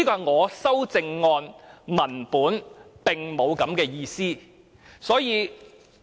我的修正案文本並沒有這樣的意思。